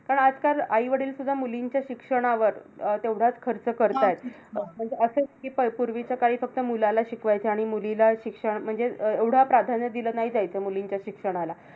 पण आजकाल आई-वडीलसुद्धा मुलींच्या शिक्षणावर अं तेवढाच खर्च करतायेत. अं असं नाही कि प पूर्वीच्या काळी फक्त मुलाला शिकवायचे आणि मुलीला शिक्षण म्हणजे अं एवढं प्राधान्य दिलं नाही जायचं. मुलींच्या शिक्षणाला.